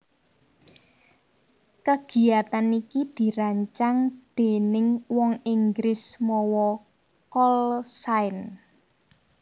Kagiyatan iki dirancang déning wong Inggris mawa call sign